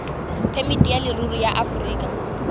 phemiti ya leruri ya aforika